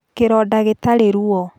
Kĩronda gĩtarĩ ruo